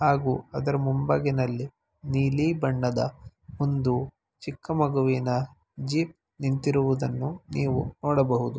ಹಾಗೂ ಅದರ ಮುಂಭಾಗದಲ್ಲಿ ನೀಲಿ ಬಣ್ಣದ ಒಂದು ಚಿಕ್ಕ ಮಗುವಿನ ಜೀಪ್ ನಿಂತಿರುವುದನ್ನು ನೀವು ನೋಡಬಹುದು.